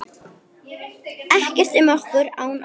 Ekkert um okkur án okkar!